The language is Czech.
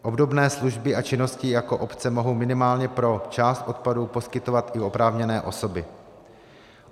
Obdobné služby a činnosti jako obce mohou minimálně pro část odpadů poskytovat i oprávněné osoby.